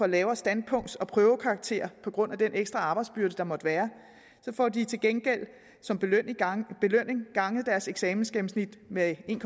lavere standpunkts og prøvekarakter på grund af den ekstra arbejdsbyrde der måtte være så får de til gengæld som belønning ganget deres eksamensgennemsnit med en